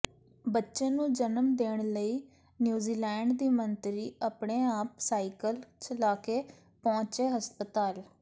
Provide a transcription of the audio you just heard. ਬੱਚੇ ਨੂੰ ਜਨਮ ਦੇਣ ਲਈ ਨਿਊਜ਼ੀਲੈਂਡ ਦੀ ਮੰਤਰੀ ਆਪਣੇ ਆਪ ਸਾਈਕਲ ਚਲਾਕੇ ਪਹੁੰਚੀ ਹਸਪਤਾਲ